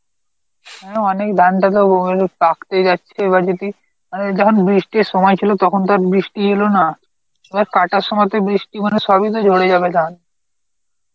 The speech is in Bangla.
হ্যাঁ, অনেক ধানটা যে পাকতে যাচ্ছে, এবার যদি অ্যাঁ যখন বৃষ্টির সময় ছিল তখন তোর বৃষ্টি এলো না সব কাটার সময় তে বৃষ্টি মানে সবই তো ঝরে যাবে ধান